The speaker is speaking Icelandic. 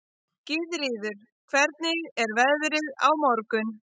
Gyðríður, hvernig er veðrið á morgun?